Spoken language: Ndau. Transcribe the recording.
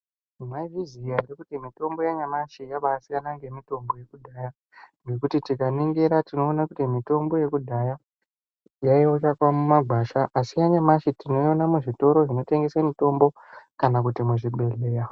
Maizviziva here kuti mitombo yanyamashi yabaisiyana nemitombo ngemitombo yekudhaya ngekuti tikaningira tinoona kuti mitombo yekudhaya yainyanyo kuwanikwa mumagwasha asi yanyamushi tinoione muzvitoro zvinotengese mitombo kana kuti muzvibhedhleya.